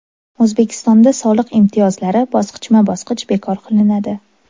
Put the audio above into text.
O‘zbekistonda soliq imtiyozlari bosqichma-bosqich bekor qilinadi.